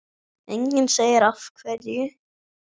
Enginn segir af hverju.